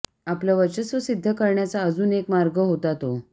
आपलं वर्चस्व सिद्ध करण्याचा अजून एक मार्ग होता तो